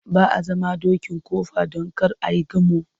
Ba a zama dokin kofa don kar ai gamo.